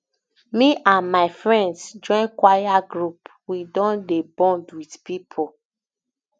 me and my friends join choir group we don dey bond wit pipo